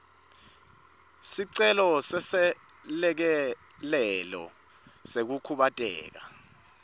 sicelo seselekelelo sekukhubateka